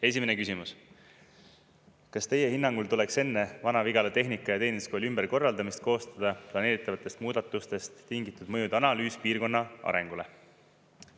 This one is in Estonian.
Esimene küsimus: kas teie hinnangul tuleks enne Vana-Vigala Tehnika- ja Teeninduskooli ümberkorraldamist koostada planeeritavatest muudatustest tingitud mõjude analüüs piirkonna arengule?